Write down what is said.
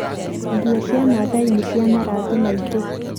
Nguo cia maathai nĩ cia marangi maingĩ.